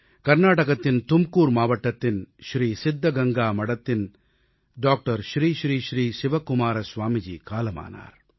கர்நாடகத்தின் தும்கூர் மாவட்டத்தின் ஸ்ரீ சித்தகங்கா மடத்தின் டாக்டர் ஸ்ரீ ஸ்ரீ ஸ்ரீ சிவகுமார ஸ்வாமிஜி காலமானார்